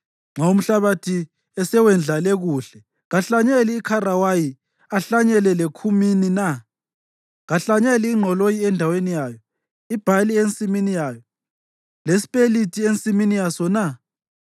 Nxa umhlabathi esewendlale kuhle, kahlanyeli ikharawayi ahlanyele lekhumini na? Kahlanyeli ingqoloyi endaweni yayo; ibhali ensimini yayo, lespelithi ensimini yaso na?